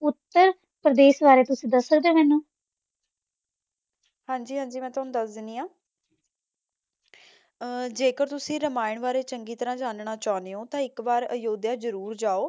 ਉੱਤਰ ਪ੍ਰਦੇਸ਼ ਬਾਰੇ ਤੁਸੀਂ ਦਸ ਸਕਦੇ ਓ ਮੈਨੂੰ? ਹਾਂਜੀ ਹਾਂਜੀ ਮੈਂ ਤੁਹਾਨੂੰ ਦੱਸ ਦਿੰਦੀ ਆ, ਅਹ ਜੇਕਰ ਤੁਸੀ ਰਾਮਾਇਣ ਬਾਰੇ ਚੰਗੀ ਤਰਾਂ ਜਾਨਣਾ ਚਾਹੁੰਦੇ ਓ ਤਾਂ ਇੱਕ ਵਾਰ ਅਯੁੱਧਿਆ ਜਰੂਰ ਜਾਓ